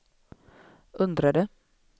undrade